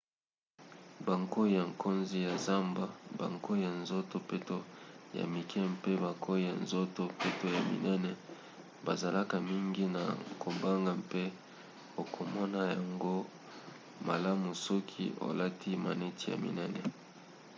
bankoi ya nkozi ya zamba bankoi ya nzoto peto ya mike mpe bankoi ya nzoto peto ya minene bazalaka mingi na kobanga mpe okomona yango malamu soki olati maneti ya minene